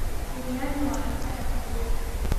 Biryani waa cunto xafladeed.